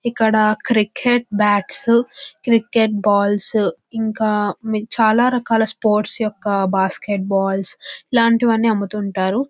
ఇక్కడ cricket bats cricket balls ఇంకా చాల రకాల స్పోర్ట్స్ యొక్క బస్కీట్ బాల్స్ ఇలాంటివి అన్ని అమ్ముతుంటారు.